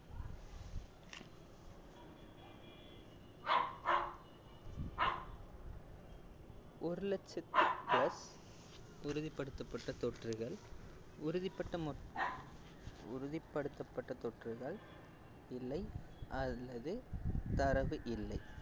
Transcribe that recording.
ஒரு லட்சத்தி plus உறுதிப்படுத்தப்பட்ட தொற்றுகள் உறுதிப்பட்ட மொத் உறுதிப்படுத்தப்பட்ட தொற்றுகள் இல்லை அல்லது தரவு இல்லை